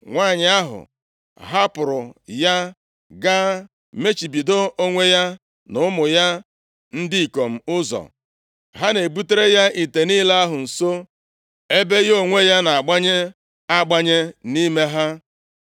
Nwanyị ahụ hapụrụ ya, ga mechibido onwe ya na ụmụ ya ndị ikom ụzọ. Ha na-ebutere ya ite niile ahụ nso, ebe ya onwe ya na-agbanye agbanye nʼime ha.